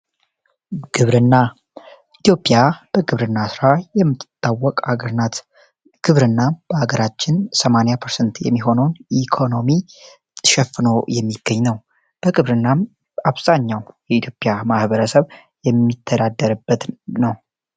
ግብርና ኢትዮጵያ በግብርና ሥራ የምትጣወቅ ሀገር ናት። ግብርና በሀገራችን 80% የሚሆነውን ኢኮኖሚ ትሸፍኖ የሚገኝ ነው። በግብርና አብዛኛው የኢትዮጵያ ማሕበረሰብ የሚተዳደርበት ነው።